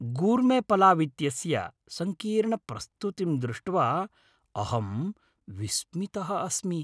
गूर्मेपलाव् इत्यस्य सङ्कीर्णप्रस्तुतिं दृष्ट्वा अहं विस्मितः अस्मि।